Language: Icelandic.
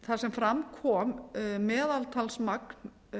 þar sem fram kom meðaltalsmagn